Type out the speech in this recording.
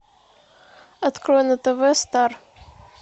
открой на тв стар